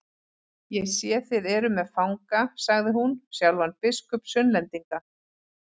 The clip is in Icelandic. Ég sé þið eruð með fanga, sagði hún, sjálfan biskup Sunnlendinga.